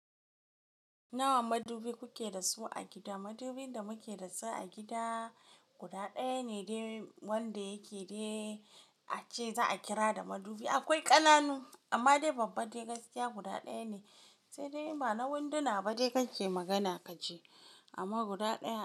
Nawa madubi kuke da su a gida? Madubin da muke da su a gida guda ɗaya ne wanda yake dai a ce za a kira da madubi. Akwai ƙananu amma dai babba dai gaskiya guda ɗaya ne. Sai dai ba na winduna ba dai kake magana ka je amma guda ɗaya.